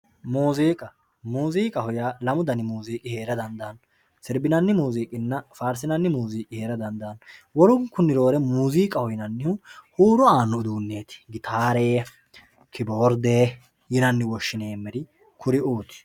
muziiqa muziiqaho yaa lamu danihu heera dandaanno sirba sirbinanni muziiqinna faarsinanni muziiqi heera dandannomuziiqaho yineemmohu huuro aanno uduunneeti gitare kiboorde yineemmore kuriuu